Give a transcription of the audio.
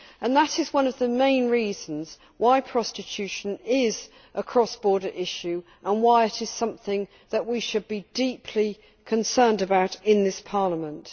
That is one of the main reasons why prostitution is a cross border issue and why it is something that we should be deeply concerned about in this Parliament.